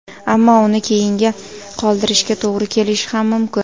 Ammo uni keyinga qoldirishga to‘g‘ri kelishi ham mumkin.